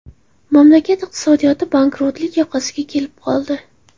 Mamlakat iqtisodiyoti bankrotlik yoqasiga kelib qoldi.